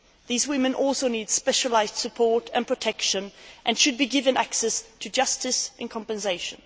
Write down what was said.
These women also need specialised support and protection and should be given access to justice and compensation.